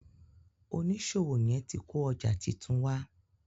oniṣòwo yén tí kò ọjà títún wá.